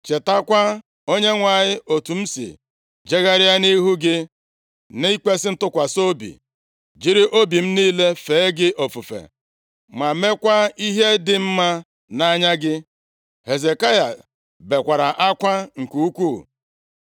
“Chetakwa, Onyenwe anyị, otu m si jegharịa nʼihu gị nʼikwesị ntụkwasị obi, jiri obi m niile fee gị ofufe, ma meekwa ihe dị mma nʼanya gị.” Hezekaya bekwara akwa nke ukwuu.